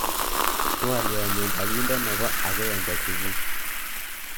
Twoliotnyu kakinde nebo agenge subui